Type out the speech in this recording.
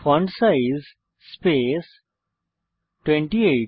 font size space 28